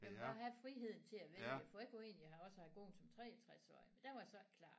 Jeg vil gerne have friheden til at vælge for jeg kunne egentlig også have gået som 63-årig men der var jeg så ikke klar